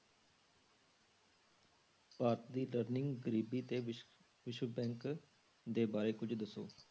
ਭਾਰਤੀ learning ਗਰੀਬੀ ਤੇ ਵਿਸ~ ਵਿਸ਼ਵ bank ਦੇ ਬਾਰੇ ਕੁੱਝ ਦੱਸੋ।